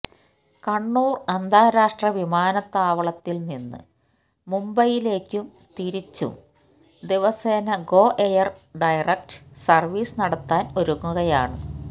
കണ്ണൂർ അന്താരാഷ്ട്ര വിമാനത്താവളത്തിൽ നിന്ന് മുംബൈയിലേക്കും തിരിച്ചും ദിവസേന ഗോ എയർ ഡയറക്ട് സർവീസ് നടത്താൻ ഒരുങ്ങുകയാണ്